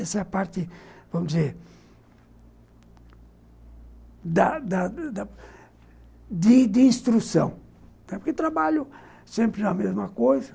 Essa é a parte, vamos dizer, da da da de de instrução, porque trabalho sempre na mesma coisa.